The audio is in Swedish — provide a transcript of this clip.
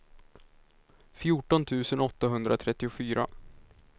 fjorton tusen åttahundratrettiofyra